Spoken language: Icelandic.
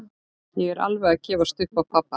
Ég er alveg að gefast upp á pabba.